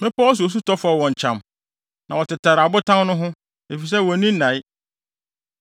Mmepɔw so osu tɔ fɔw wɔn kyam na wɔtetare abotan no ho, efisɛ wonni nnae.